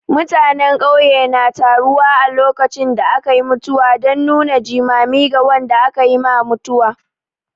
Mutanen ƙauye na taruwa a lokacin da aka yi mutuwa don nuna jimami ga wanda aka yi ma mutuwa.